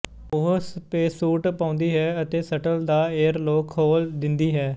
ਉਹ ਸਪੇਸਸੂਟ ਪਾਉਂਦੀ ਹੈ ਅਤੇ ਸ਼ਟਲ ਦਾ ਏਅਰਲੌਕ ਖੋਲ੍ਹ ਦਿੰਦੀ ਹੈ